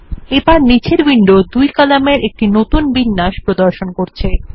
এবারনীচের window দুই কলামের একটি নতুন বিন্যাস প্রদর্শন করছে